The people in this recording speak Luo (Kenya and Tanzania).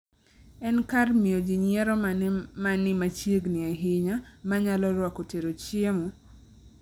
En kar miyo ji nyiero mane ma ni machiegni ahinya ma nyalo rwako tero chiemo?